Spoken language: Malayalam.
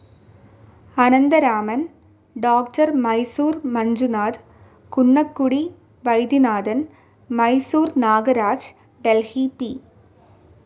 Anantharaman, doctor Mysore Manjunath, Kunnakudi Vaidyanathan, Mysore Nagaraj, Delhi P.